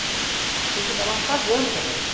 Porque a gente acabava pagando para dançar.